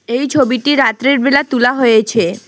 এই ছবিটি রাত্রেরবেলা তুলা হয়েছে।